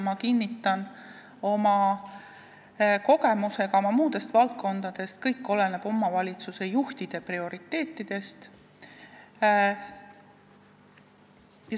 Ma kinnitan oma kogemuse põhjal muudest valdkondadest: kõik oleneb omavalitsuse juhtide prioriteetidest.